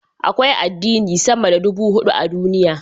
Akwai addini sama da ɗubu hudu a duniya.